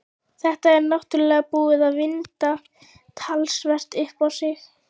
Þetta er náttúrlega búið að vinda talsvert upp á sig.